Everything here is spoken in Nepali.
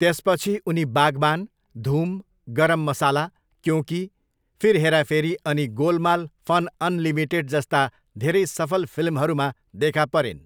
त्यसपछि, उनी बागबान, धूम, गरम मसाला, क्यों की, फिर हेरा फेरी अनि गोलमाल फन अनलिमिटेड जस्ता धेरै सफल फिल्महरूमा देखा परिन्।